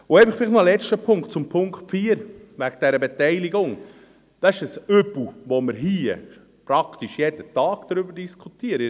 Und vielleicht noch ein letzter Punkt, zum Punkt 4, wegen dieser Beteiligung: Dies ist ein Übel, über das wir hier praktisch jeden Tag diskutieren.